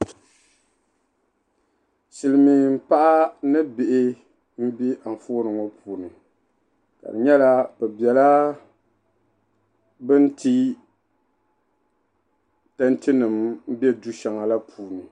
Silimiin'paɣa ni bihi m-be anfooni ŋɔ puuni ka di nyɛla be bela bin ti peentinima be du'shɛŋa la puuni.